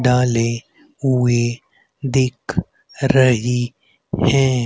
डाले हुए दिख रही हैं।